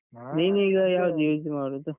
ನೀನೀಗ ಯಾವ್ದು use ಮಾಡುದು?